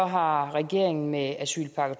har regeringen med asylpakke